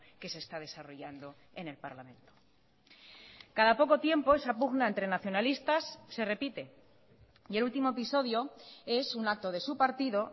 que se está desarrollando en el parlamento cada poco tiempo esa pugna entre nacionalistas se repite y el último episodio es un acto de su partido